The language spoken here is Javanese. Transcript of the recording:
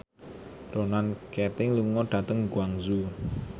Ronan Keating lunga dhateng Guangzhou